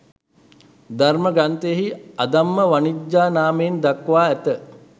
ධර්ම ග්‍රන්ථයෙහි අධම්ම වණිජ්ජා නාමයෙන් දක්වා ඇත.